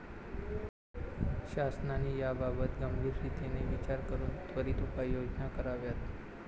शासनाने याबाबत गंभीरतेने विचार करून त्वरित उपाययोजना कराव्यात.